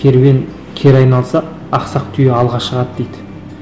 керуен кері айналса ақсақ түйе алға шығады дейді